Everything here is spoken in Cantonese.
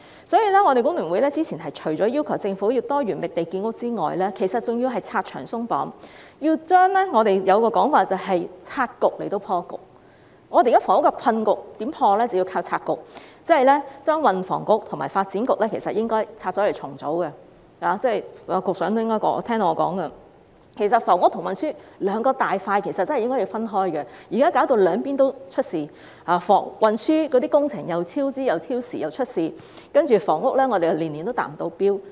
所以，我們工聯會早前除了要求政府要多元覓地建屋外，還要拆牆鬆綁，即我們所說的"拆局以破局"，我們現時的房屋困局要透過拆局來解決，即是說，應該把運輸及房屋局和發展局分拆重組——局長應該聽到我的說話——房屋和運輸兩個大板塊真的應該分開，現在弄至兩邊也出現問題，運輸工程既超支又超時，而房屋方面，又年年未能達標。